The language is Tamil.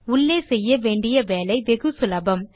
உள்ளே செய்ய வேண்டிய வேலை வெகு சுலபம்